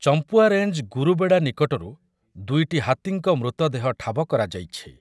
Champua range Gurubeda ନିକଟରୁ ଦୁଇଟି ହାତୀଙ୍କ ମୃତଦେହ ଠାବ କରାଯାଇଛି ।